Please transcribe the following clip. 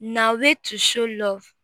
na way to show love